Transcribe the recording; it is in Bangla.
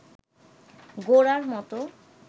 গোরার মতো